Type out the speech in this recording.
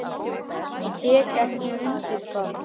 Ég tek ekki undir það.